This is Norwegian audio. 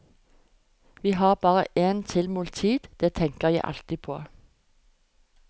Vi har bare en tilmålt tid, det tenker jeg alltid på.